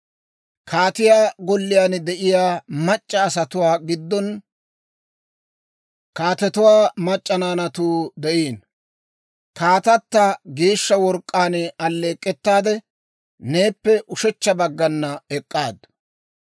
Kaatiyaa golliyaan de'iyaa mac'c'a asatuwaa giddon, kaatetuwaa mac'c'a naanatuu de'iino; kaatata geeshsha work'k'aan alleek'k'ettaade, neeppe ushechcha baggan ek'k'aaddu.